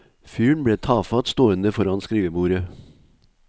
Fyren ble tafatt stående foran skrivebordet.